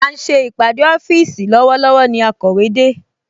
À ń ṣe ìpàdé ọ́fíìsì lọ́wọ́lọ́wọ́ ni akọ̀wé de